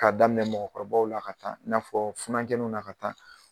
K'a daminɛ mɔgɔkɔrɔbaw la ka taa i n'a fɔ funankɛnunw na ka taa